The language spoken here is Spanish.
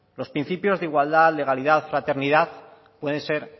los principios de igualdad legalidad fraternidad pueden ser